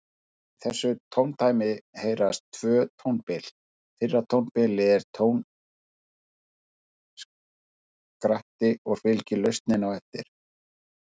Í þessu tóndæmi heyrast tvö tónbil, fyrra tónbilið er tónskratti og fylgir lausnin á eftir.